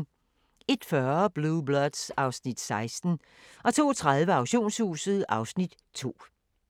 01:40: Blue Bloods (Afs. 16) 02:30: Auktionshuset (Afs. 2)